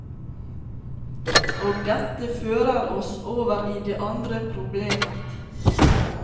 Og dette fører oss over i det andre problemet.